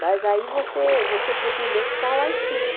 Mas aí você você procura ler o que está lá escrito.